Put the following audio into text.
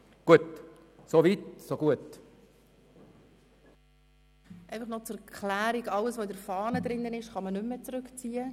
Einfach noch zur Erklärung: Alles, was auf den Fahnen steht, kann man nicht mehr zurückziehen.